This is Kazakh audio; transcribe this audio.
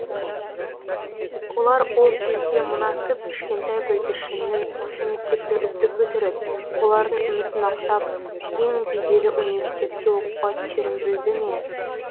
олар ол кезде мына кіп кішкентай бүлдіршіннің осы мектепті үздік бітіріп олардың үмітін ақтап ең беделі университетке оқуға түсерін білді ме